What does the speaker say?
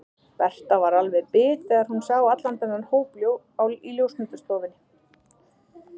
Berta var alveg bit þegar hún sá allan þennan hóp í ljósmyndastofunni.